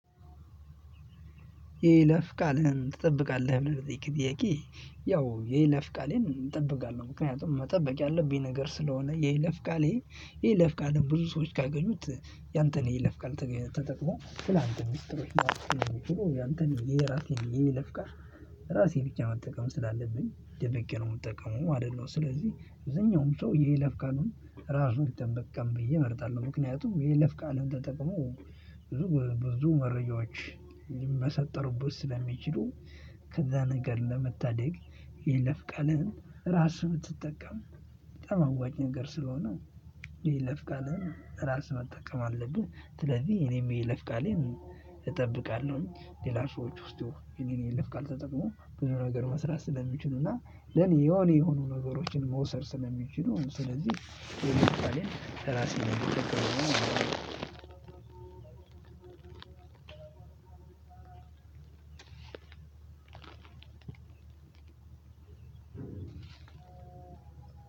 የይለፍ ቃልህን ትጠብቃለህ ብለህ ለጠየከኝ ጥያቄ? ያው የይለፍ ቃሌን እጠብቃለሁ ምክንያቱም መጠበቅ ያለብኝ ነገር ስለሆነ የይለፍ ቃሌ የይለፍ ቃሌን ብዙ ሰዎች ካገኙት ያንተን የይለፍ ቃል ተጠቅሞ ስላንተ ምስጢሮች ያንተን የራሴን የይለፍ ቃል ራሴ ብቻ መጠቀም ስላለብኝ ደብቄ ነው የምጠቀመው ማለት ነው። ስለዚህ አብዛኛውም ሰው የይለፍ ቃሉን ራሱ ቢጠቀም ብዬ እመርጣለሁ። ምክንያቱም የይለፍ ቃልን ተጠቅሞ ብዙ ብዙ መረጃዎች ሊመሰጠሩበት ስለሚችሉ። ከዛ ነገር ለመታደግ የይለፍ ቃልህን ራስህ ብትጠቀም በጣም አዋጭ ነገር ስለሆነ። የይለፍ ቃልህን ራስህ መጠቀም አለብህ። ስለዚህ እኔም የይለፍ ቃሌን እጠብቃለሁኝ። ሌላ ሰዎች ውስጥ የኔን የለፍ ቃል ተጠቅሞ ብዙ ነገር መስራት ስለሚችሉና ለኔ የሆኑ የሆኑ ነገሮችን መውሰድ ስለሚችሉ ስለዚህ ራሴን ችግር ነው።